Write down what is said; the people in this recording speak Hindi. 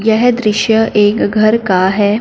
यह दृश्य एक घर का है।